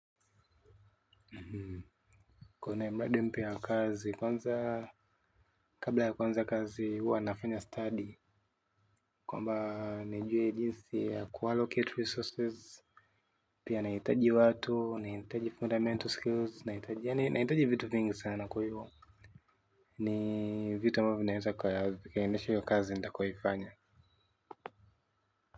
Kwenye mradi mpya wa kazi kwanza kabla ya kuanza kazi huwa nafanya study kwamba nijue jinsi ya kuallocate resources. Pia nahitaji watu, nahitaji fundamental skills, nahitaji vitu vingi sana kwahivo. Ni vitu ambavyo vinaweza kwa ya vikaendesha hiyo kazi nitakayoifanya.